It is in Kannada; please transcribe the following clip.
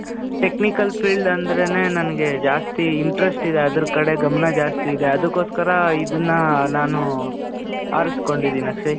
technical field ಅಂದ್ರೆನೇ ನನ್ಗೆ ಜಾಸ್ತಿ interest ಇದೆ. ಅದ್ರ್ ಕಡೆ ಗಮನ ಜಾಸ್ತಿ ಇದೆ. ಅದುಕೋಸ್ಕರ ಇದುನ್ನಾ ನಾನು, ಆರಿಸ್ಕೊಂಡಿದೀನಿ ಅಕ್ಷಯ್.